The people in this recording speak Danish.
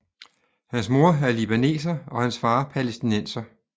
Hans mor er libaneser og hans far palæstinenser